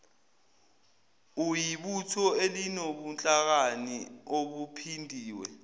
uyibutho elinobuhlakani obuphindiwe